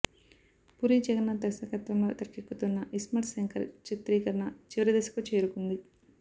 పూరి జగన్నాథ్ దర్శకత్వంలో తెరకెక్కుతున్న ఇస్మార్ట్ శంకర్ చిత్రీకరణ చివరి దశకు చేరుకుంది